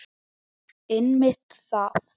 Einmitt það!